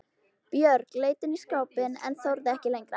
Björg leit inn í skápinn en þorði ekki lengra.